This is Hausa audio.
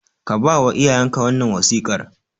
Ka ba wa iyayenka wannan wasiƙar